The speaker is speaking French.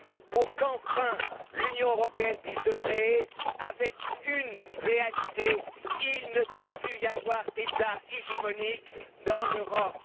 pour qu'enfin l'Union européenne puisse se créer avec une réalité. Il ne doit plus y avoir d'État hégémonique dans l'Europe.